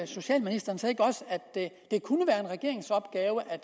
socialministeren så ikke også at det kunne være en regeringsopgave at